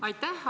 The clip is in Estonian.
Aitäh!